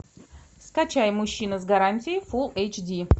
скачай мужчина с гарантией фул эйч ди